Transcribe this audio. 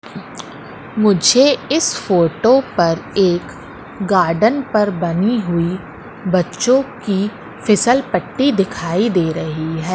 मुझे इस फोटो पर एक गार्डन पर बनी हुई बच्चों की फिसल पट्टी दिखाई दे रही है।